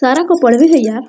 को पढ़वे यार --